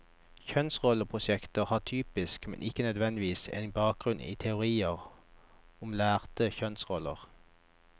Kjønnsrolleprosjekter har typisk, men ikke nødvendigvis, en bakgrunn i teorier om lærte kjønnsroller.